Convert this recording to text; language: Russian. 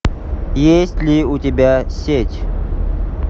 есть ли у тебя сеть